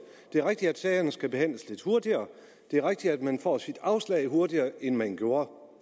det er rigtigt at sagerne skal behandles lidt hurtigere og det er rigtigt at man får sit afslag hurtigere end man gjorde